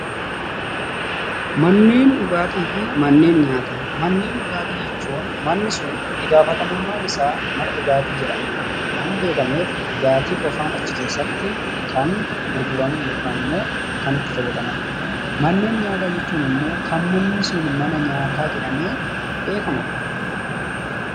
Manneen dhugaatii fi manneen nyaataa. Manneen dhugaatii manni sun ittigaafatamummaan isaa mana dhugaatii jedhamee kan beekamu dhugaatii qofaan achi keessaatti kan gurguramu waan ta'eef kan namoonni itti fayyadamanii dha. Manneen nyaata jechuun immoo kan manni akkasii mana nyaataa jedhamee beekamuu dha.